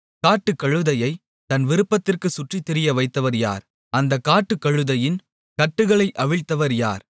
காட்டுக்கழுதையைத் தன் விருப்பத்திற்கு சுற்றித்திரிய வைத்தவர் யார் அந்தக் காட்டுக்கழுதையின் கட்டுகளை அவிழ்த்தவர் யார்